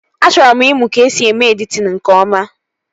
A chọrọ m ịmụ ka esi eme editin nke ọma